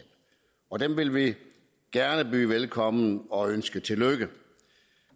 og dem vil vi gerne byde velkommen og ønske tillykke